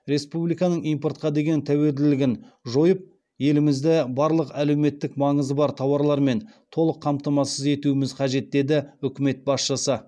республиканың импортқа деген тәуелділігін жойып елімізді барлық әлеуметтік маңызы бар тауарлармен толық қамтамасыз етуіміз қажет деді үкімет басшысы